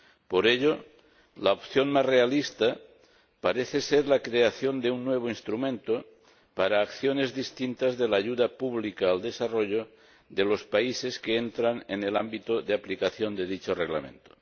Por ello, la opción más realista parece ser la creación de un nuevo instrumento para acciones distintas de la ayuda pública al desarrollo de los países que entran en el ámbito de aplicación de dicho Reglamento.